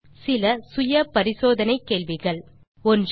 நீங்கள் தீர்வு காண இதோ சில செல்ஃப் அசெஸ்மென்ட் கேள்விகள் 1